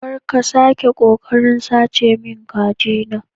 Kar ka sake kokarin sace min kajina